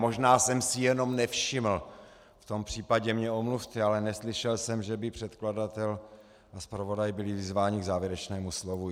Možná jsem si jenom nevšiml, v tom případě mě omluvte, ale neslyšel jsem, že by předkladatel a zpravodaj byli vyzváni k závěrečnému slovu.